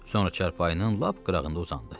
Sonra çarpayının lap qırağında uzandı.